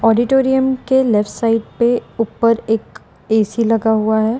Auditorium के left side पे ऊपर एक ए_सी लगा हुआ है।